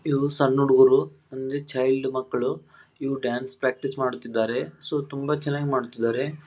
ಇವ್ವು son ಹುಡುಗರು child ಮಕ್ಕಳು ಇವರು ಡಾನ್ಸ್ ಪ್ರಾಕ್ಟೀಸ್ ಮಾಡುತಿದ್ದಾರೆ ಸೊ ತುಂಬ ಚೆನ್ನಾಗ್ ಮಾಡುತಿದ್ದಾರೆ.